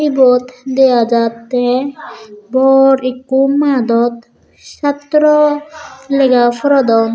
ebot degha jattey bor ekko madot satro legha porodon.